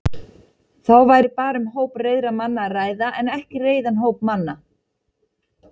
Þá væri bara um hóp reiðra manna að ræða en ekki reiðan hóp manna.